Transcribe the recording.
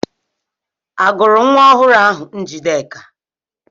Agọrọ nwa ọhụrụ ahụ Njideka?